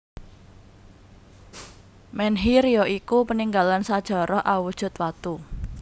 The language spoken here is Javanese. Menhir ya iku paninggalan sajarah awujud watu